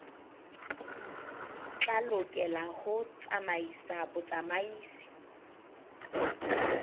tla lokela ho tsamaisa botsamaisi